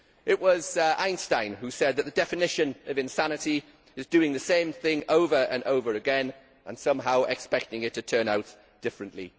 It was Einstein who said that the definition of insanity is doing the same thing over and over again and somehow expecting it to turn out differently.